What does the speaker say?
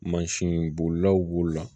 Mansin bolilaw b'o la